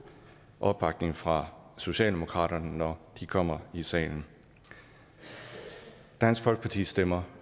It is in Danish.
opbakning fra socialdemokratiet når de kommer i salen dansk folkeparti stemmer